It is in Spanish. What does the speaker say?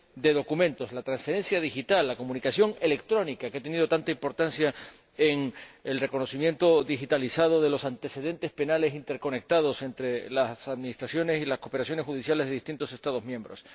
de documentos, la transferencia digital, la comunicación electrónica, que ha tenido tanta importancia en el reconocimiento digitalizado de los antecedentes penales interconectados entre las administraciones y las cooperaciones judiciales de distintos Estados miembros.